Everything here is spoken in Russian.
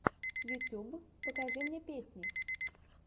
ютюб покажи мне песни